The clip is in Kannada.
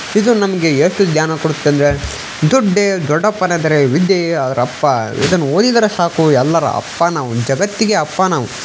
ಇದು ನಮಗೆ ಎಷ್ಟು ಜ್ಞಾನ ಕೊಡುತ್ತೆ ಅಂದ್ರೆ ದುಡ್ಡೇ ದೊಡ್ಡಪ್ಪನ ಎಂದರೆ ವಿದ್ಯೆ ಅವರಪ್ಪ ಸಾಕು ಎಲ್ಲರ ಅಪ್ಪ ನಾವು ಜಗತ್ತಿಗೆ ಹಬ್ಬ ನಾವು.--